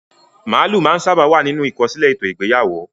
Màálù máa ń sábà wà nínú ìkọsílẹ̀ ètò ìgbéyàwó.